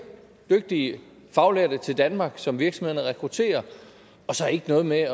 dygtige faglærte til danmark som virksomhederne rekrutterer og så ikke noget med